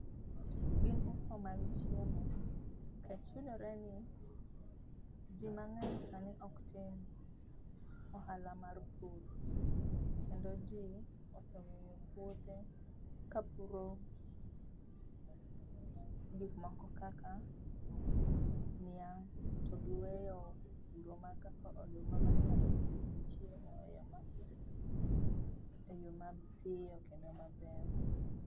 Gin uso mag chiemo, nikech yudore ni, jii mang'eny sani oktim ohala mar pur, kendo jii ose pwothe ka puro gik moko kaka niang' to giweyo puro mar kaka oduma manyalo miogi chiemo e yoo ma e yoo ma pio kendo maber.